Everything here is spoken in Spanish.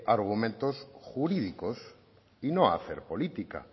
argumentos jurídicos y no hacer política